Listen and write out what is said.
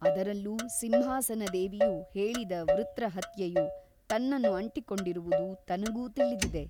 ಅದರಲ್ಲೂ ಸಿಂಹಾಸನದೇವಿಯು ಹೇಳಿದ ವೃತ್ರಹತ್ಯೆಯು ತನ್ನನ್ನು ಅಂಟಿಕೊಂಡಿರುವುದು ತನಗೂ ತಿಳಿದಿದೆ.